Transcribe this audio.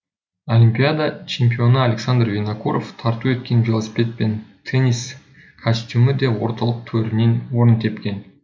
олимпиада чемпионы александр винокуров тарту еткен велосипед пен теннис костюмі де орталық төрінен орын тепкен